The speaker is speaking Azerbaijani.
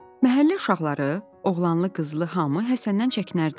Məhəllə uşaqları, oğlanlı-qızlı hamı Həsəndən çəkinərdi.